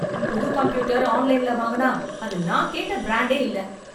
புது கம்ப்யூட்டர் ஆன்லைன்ல வாங்கினா அது நான் கேட்ட பிராண்டே இல்ல.